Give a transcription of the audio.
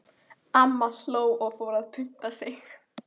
Amma hló og fór að punta sig.